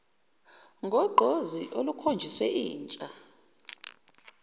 ngogqozi olukhonjiswe yintsha